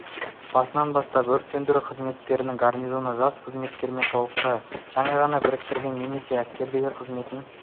басынан бастап өрт сөндіру қызметтерінің гарнизоны жас қызметкерімен толықты жаңа ғана бітірген немесе әскердегі қызметін